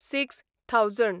six thousand